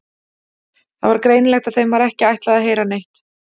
Það var greinilegt að þeim var ekki ætlað að heyra neitt.